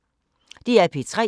DR P3